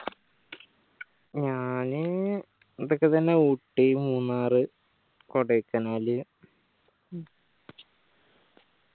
ഞാൻ ഇതൊക്കെത്തന്നെ ഊട്ടി മൂന്നാർ കൊടയ്കനാൽ